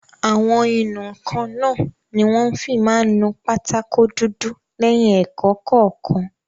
Àwọn ìnù-ǹkan náà ni wọ́n fi máa n nu pátákó dúdú lẹ́yìn ẹ̀kọ́ kọ̀ọ̀kan